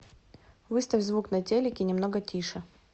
выставь звук на телике немного тише